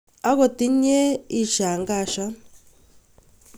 Akot inye ishangashan